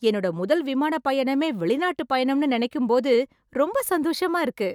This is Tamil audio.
என்னோட முதல் விமானப் பயணமே வெளிநாட்டுப் பயணம்னு நெனைக்கும்போது ரொம்ப சந்தோஷமா இருக்கு.